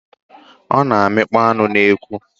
Ọ na-amịkpọ anụ n'ekwu.